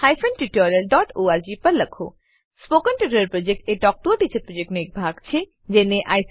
spoken tutorial project talk to a teacher પ્રોજેક્ટનો એક ભાગ છે